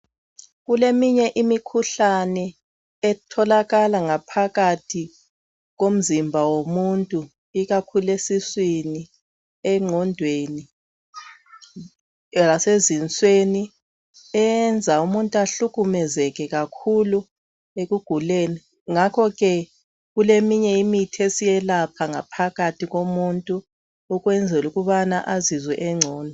Kuleminye imikhuhlane etholakala ngaphakathi komzimba womuntu ikakhulu esiswini egqondwen lasezinsweni eyenza umuntu ahlukumezeke kakhulu ekuguleni ngakhoke kuleminye imithi esiyelapha ngaphakathi komuntu ukwenzela ukubana azizwe esengcono